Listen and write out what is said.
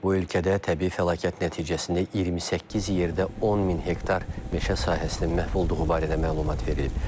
Bu ölkədə təbii fəlakət nəticəsində 28 yerdə 10 min hektar meşə sahəsinin məhv olduğu barədə məlumat verilib.